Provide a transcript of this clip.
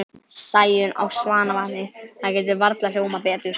Sæunn á Svanavatni, það getur varla hljómað betur.